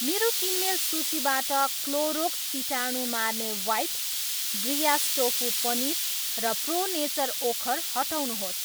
मेरो किनमेल सूचीबाट क्लोरोक्स कीटाणु मार्ने वाइप, ब्रियास टोफू पनिर र प्रो नेचर ओखर हटाउनुहोस्।